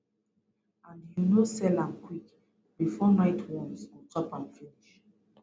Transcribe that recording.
and you no sell am quick bifor night worms go chop am finish